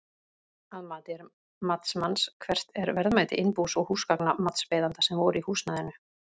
Að mati matsmanns, hvert er verðmæti innbús og húsgagna matsbeiðanda sem voru í húsnæðinu?